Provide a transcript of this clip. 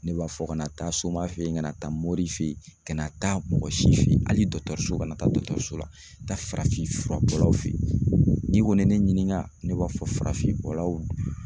Ne b'a fɔ ka na taa soma feyi kana taa mori feyi ka na taa mɔgɔ si feyi hali dɔgɔtɔrɔso ka na taa dɔgɔtɔrɔso la taa farafinfurabɔlaw feyi n'i kɔni ye ne ɲininka ne b'a fɔ farafinbɔlaw.